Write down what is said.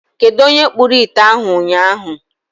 Kedụ onye kpụrụ ite ahụ ụnyaahụ.